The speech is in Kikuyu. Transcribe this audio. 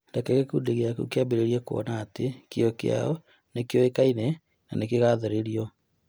Reke gĩkundi gĩaku kĩambĩrĩrie kuona atĩ kĩyo kĩao nĩ kĩoĩkaine na gĩkagathĩrĩrio.